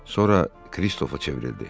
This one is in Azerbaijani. Sonra Kristofa çevrildi.